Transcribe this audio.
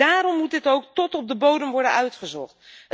Daarom moet dit ook tot op de bodem worden uitgezocht.